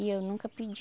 E eu nunca pedi.